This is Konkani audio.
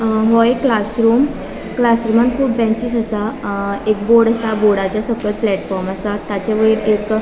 अ वयर क्लासरूम क्लासरूमान कुब बेंचेस असा अ एक बोर्ड असा बोर्डचा सकयल प्लेटफॉर्म असा ताचे वयर एक --